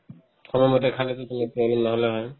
প্ৰথমতে khana তো না হ'লে হয়